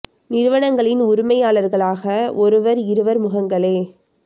நிறுவங்களின் உருமையாளர்களாக ஒருவர் இருவர் முகங்களே